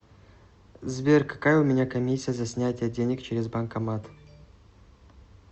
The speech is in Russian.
сбер какая у меня комиссия за снятие денег через банкомат